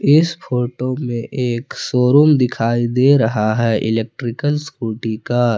इस फोटो में एक शोरूम दिखाई दे रहा है इलेक्ट्रिकल स्कूटी का।